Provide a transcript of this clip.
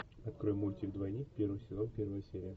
открой мультик двойник первый сезон первая серия